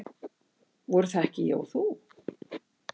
Voru það ekki ég og þú?